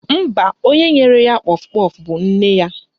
Mba, onye nyere ya kpọf kpọf bụ nne ya